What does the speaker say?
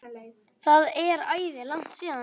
Það er æði langt síðan.